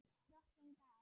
Drottin gaf.